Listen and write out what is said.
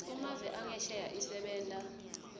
kumave angesheya isebenta